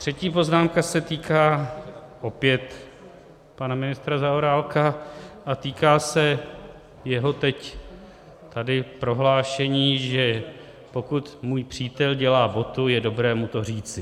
Třetí poznámka se týká opět pana ministra Zaorálka a týká se jeho teď tady prohlášení, že pokud můj přítel dělá botu, je dobré mu to říci.